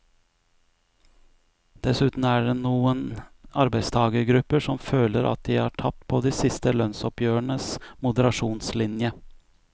Dessuten er det noen arbeidstagergrupper som føler at de har tapt på de siste lønnsoppgjørenes moderasjonslinje.